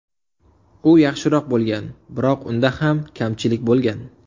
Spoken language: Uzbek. U yaxshiroq bo‘lgan, biroq unda ham kamchilik bo‘lgan.